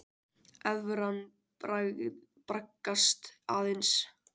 Evran braggast aðeins